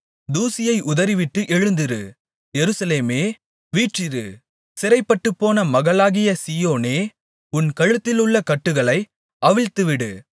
தூசியை உதறிவிட்டு எழுந்திரு எருசலேமே வீற்றிரு சிறைப்பட்டுப்போன மகளாகிய சீயோனே உன் கழுத்திலுள்ள கட்டுகளை அவிழ்த்துவிடு